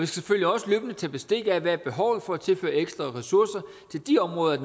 selvfølgelig også løbende tage bestik af hvad behovet er for at tilføre ekstra ressourcer til de områder af